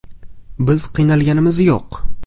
Biz qiynalganimiz yo‘q”.